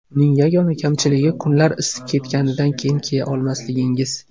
Uning yagona kamchiligi kunlar isib ketganidan keyin kiya olmasligingiz.